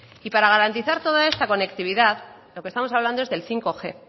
y para garantizar toda esta conectividad de lo que estamos hablando es del bostg